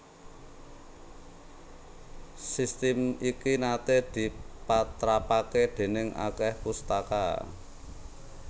Sistem iki naté dipatrapaké déning akèh pustaka